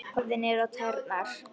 Horfði niður á tærnar.